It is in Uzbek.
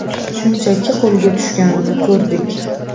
Shunchaki qo‘lga tushganini ko‘rdik.